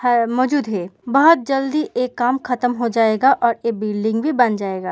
है मोजूद है। बोहोत जल्दी ए काम ख़तम हो जायेगा और ए बिल्डिंग भी बन जायेगा।